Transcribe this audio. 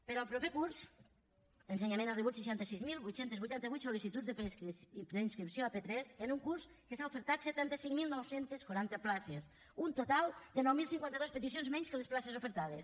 per al proper curs ensenyament ha rebut seixanta sis mil vuit cents i vuitanta vuit sol·licituds de preinscripció a p3 en un curs que s’han ofertat setanta cinc mil nou cents i quaranta places un total de nou mil cinquanta dos peticions menys que les places ofertades